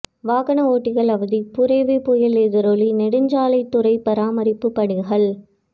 வாகன ஓட்டிகள் அவதி புரெவி புயல் எதிரொலி நெடுஞ்சாலைத்துறை பராமரிப்பு பணிகள்